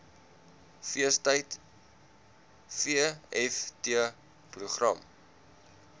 feestyd vft program